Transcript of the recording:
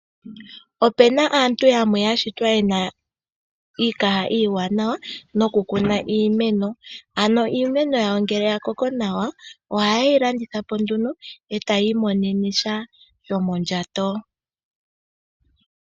Opena aantu yamwe yashitwa yena iikaha iiwanawa nokukuna iimeno,, ano iimeno yawo ngele yakoko nawa, ohayeilandithapo etayiimonenesha shomondjato.